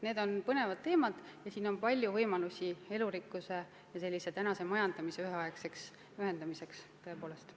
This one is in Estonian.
Need on põnevad teemad, võimalusi elurikkuse ja tänapäevase majandamise ühendamiseks tõepoolest on.